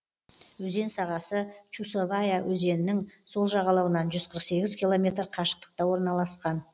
өзен сағасы чусовая өзенің сол жағалауынан жүз қырық сегіз километр қашықтықта орналасқан